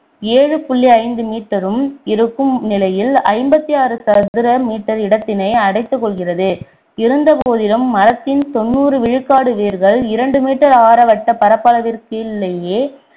ஏழு புள்ளி ஐந்து meter உம் இருக்கும் நிலையில் ஐம்பத்தாறு சதுர meter இடத்தினை அடைத்துக்கொள்கிறது இருந்த போதிலு மரத்தின் தொண்ணூறு விழுக்காடு வேரகள் இரண்டு meter ஆர வட்ட பரப்பளவிற்குள்ளேயே